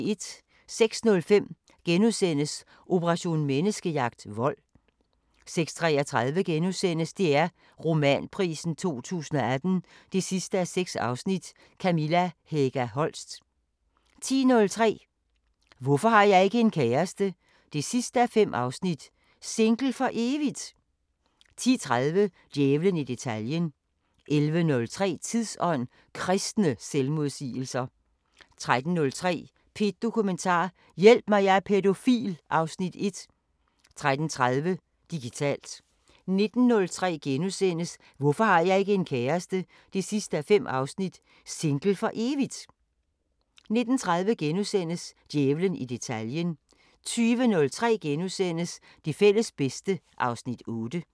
06:05: Operation Menneskejagt: Vold * 06:33: DR Romanprisen 2018 6:6 – Kamilla Hega Holst * 10:03: Hvorfor har jeg ikke en kæreste? 5:5 – Single for evigt...? 10:30: Djævlen i detaljen 11:03: Tidsånd: Kristne selvmodsigelser 13:03: P1 Dokumentar: Hjælp mig, jeg er pædofil (Afs. 1) 13:30: Digitalt 19:03: Hvorfor har jeg ikke en kæreste? 5:5 – Single for evigt...? * 19:30: Djævlen i detaljen * 20:03: Det fælles bedste (Afs. 8)*